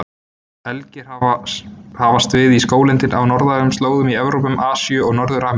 Elgir hafast við í skóglendi á norðlægum slóðum í Evrópu, Asíu og Norður-Ameríku.